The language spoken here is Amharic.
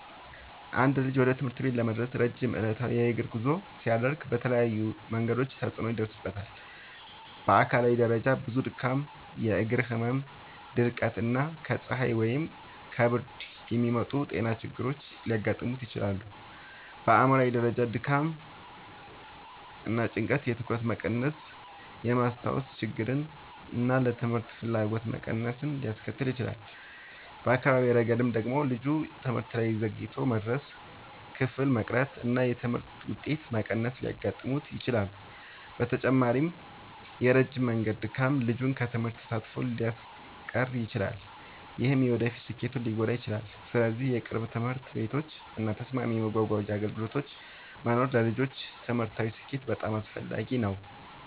አንድ ልጅ ወደ ትምህርት ቤት ለመድረስ ረጅም ዕለታዊ የእግር ጉዞ ሲያደርግ በተለያዩ መንገዶች ተጽዕኖ ይደርስበታል። በአካላዊ ደረጃ ብዙ ድካም፣ የእግር ህመም፣ ድርቀት እና ከፀሐይ ወይም ከብርድ የሚመጡ ጤና ችግሮች ሊያጋጥሙት ይችላሉ። በአእምሯዊ ደረጃ ደግሞ ድካም እና ጭንቀት የትኩረት መቀነስን፣ የማስታወስ ችግርን እና ለትምህርት ፍላጎት መቀነስን ሊያስከትል ይችላል። በአካዳሚያዊ ረገድ ደግሞ ልጁ ትምህርት ላይ ዘግይቶ መድረስ፣ ክፍል መቅረት እና የትምህርት ውጤት መቀነስ ሊያጋጥሙት ይችላሉ። በተጨማሪም የረጅም መንገድ ድካም ልጁን ከትምህርት ተሳትፎ ሊያስቀር ይችላል፣ ይህም የወደፊት ስኬቱን ሊጎዳ ይችላል። ስለዚህ ቅርብ ትምህርት ቤቶች እና ተስማሚ የመጓጓዣ አገልግሎቶች መኖር ለልጆች ትምህርታዊ ስኬት በጣም አስፈላጊ ነው።